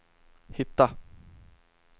hitta